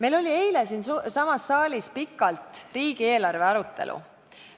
Eile toimus siin saalis pikalt riigieelarve arutelu.